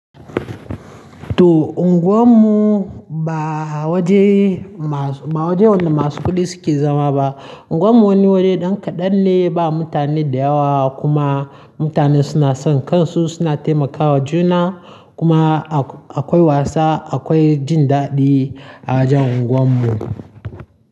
To unguwarmu ba waje ma- ba waje wanda masu kuɗi suke zama ba. Unguwar mu wani wuri ɗan kaɗan ne, ba mutane da yawa kuma mutane suna son kansu, suna taimakawa juna kuma akwai wasa, akwai jin daɗi a wajan unguwar mu.